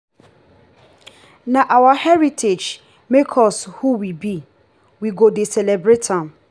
na our heritage make us who we be we go dey celebrate am.